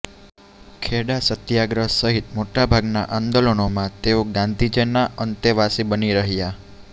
ખેડા સત્યાગ્રહ સહીત મોટાભાગના અંદોલનમાં તેઓ ગાંધીજીના અંતેવાસી બની રહ્યા